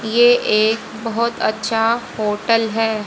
ये एक बहोत अच्छा होटल है।